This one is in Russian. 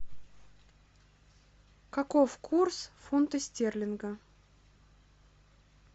каков курс фунта стерлинга